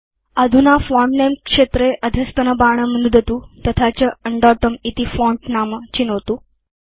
अधुना फोंट नमे क्षेत्रे अधस्तनबाणं नुदतु तथा च उण्डोतुं इति फोंट नाम चिनोतु